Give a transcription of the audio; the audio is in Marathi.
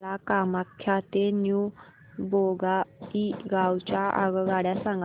मला कामाख्या ते न्यू बोंगाईगाव च्या आगगाड्या सांगा